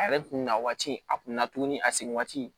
A yɛrɛ kun na waati a kun na tuguni a segin waati